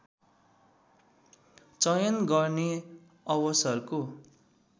चयन गर्ने अवसरको